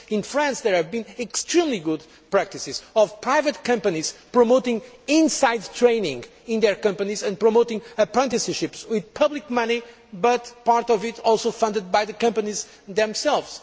For instance, in France, there have been extremely good practices from private companies promoting in house training in their companies and promoting apprenticeships with public money, but with part of it also funded by the companies themselves.